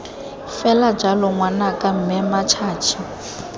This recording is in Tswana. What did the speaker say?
fela jalo ngwanaka mme mmatšhatšhi